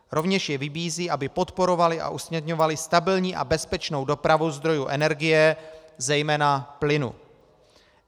Rovněž je vybízí, aby podporovaly a usměrňovaly stabilní a bezpečnou dopravu zdrojů energie, zejména plynu.